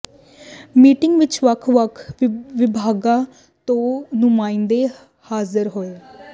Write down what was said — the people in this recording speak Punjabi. ਮੀਟਿੰਗ ਵਿੱਚ ਵੱਖ ਵੱਖ ਵਿਭਾਗਾਂ ਤੋਂ ਨੁਮਾਇੰਦੇ ਹਾਜਰ ਹੋਏ